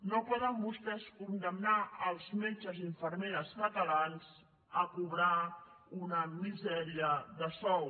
no poden vostès condemnar els metges i infermeres catalans a cobrar una misèria de sou